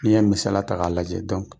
N'i ye misaliya ta k'a lajɛ